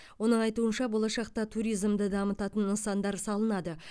оның айтуынша болашақта туризмды дамытатын нысандар салынады